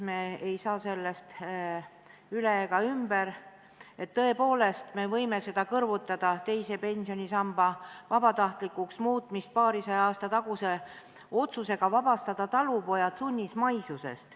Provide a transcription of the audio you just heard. Me ei saa sellest üle ega ümber, tõepoolest, me võime seda teise pensionisamba vabatahtlikuks muutmist kõrvutada paarisaja aasta taguse otsusega vabastada talupojad sunnismaisusest.